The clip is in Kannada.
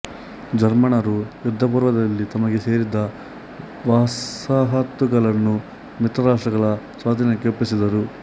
ಜರ್ಮನ್ನರು ಯುದ್ಧಪೂರ್ವದಲ್ಲಿ ತಮಗೆ ಸೇರಿದ್ಧ ವಸಾಹತುಗಳನ್ನು ಮಿತ್ರ ರಾಷ್ಟ್ರಗಳ ಸ್ವಾಧೀನಕ್ಕೆ ಒಪ್ಪಿಸಿದರು